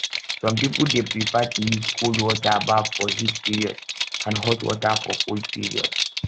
some pipo de prefere to use cold water baff for heat period and hot water for cold period